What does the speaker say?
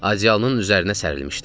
Adyalının üzərinə sərilmişdi.